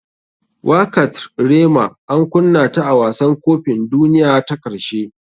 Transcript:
Wakatr rema an kunna ta a wasan kopin duniyan ta karshe.